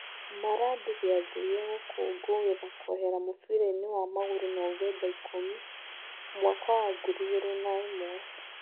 Maradi gĩathĩ gĩa gũkũngũĩra kũehera mũbirainĩ wa magũrũ Novemba ikũmi, mwaka wa ngiri igĩrĩ na ĩmwe.